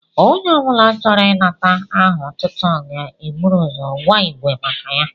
Onye obula chọrọ inata aha otútú ga ébụrụ ụzọ gwa ígwé maka ya